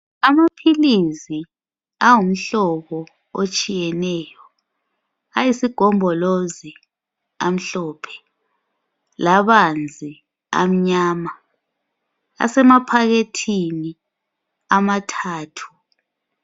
Amaphilizi angumhlobo etshiyeneyo ayisigombolozi amhlophe labanzi amnyama asemaphakethini amathathu.